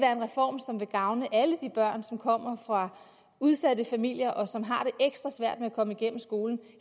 gavne alle de børn som kommer fra udsatte familier og som har ekstra svært ved at komme igennem skolen